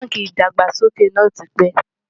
bánkì ìdàgbàsókè nà tí pé